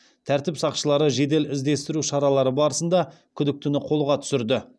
тәртіп сақшылары жедел іздестіру шаралары барысында күдіктіні қолға түсірді